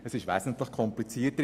Es ist wesentlich komplizierter.